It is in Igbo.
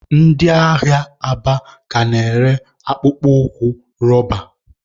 Ndị ahịa Aba ka na-ere akpụkpọ ụkwụ roba.